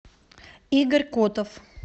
игорь котов